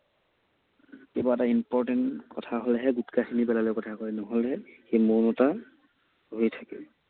কিবা এটা important কথা হলেহে গুটখাখিনি পেলাই লৈ কথা কয়, নহলে